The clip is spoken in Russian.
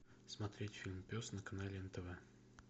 смотреть фильм пес на канале нтв